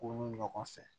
Ko nu ɲɔgɔn fɛ